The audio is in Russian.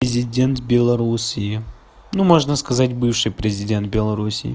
президент белоруссии ну можно сказать бывший президент белоруссии